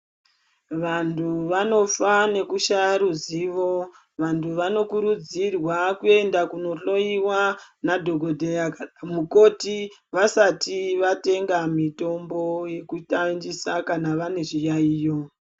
Vantu vanofa nekushaya ruzivo. Vantu vanokurudzirwa kuenda kunohloyiwa nadhokodheya kana mukoti, vasati vatenga mitombo yekushandisa kana vane zviyaiyo.